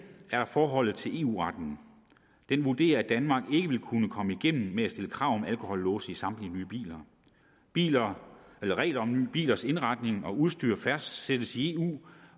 er der forholdet til eu retten den vurderer at danmark ikke vil kunne komme igennem med at stille krav om alkolåse i samtlige nye biler regler om nye bilers indretning og udstyr fastsættes i eu